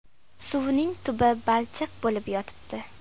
Suvning tubi balchiq bo‘lib yotibdi.